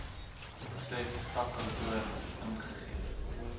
said takkantoor ingegee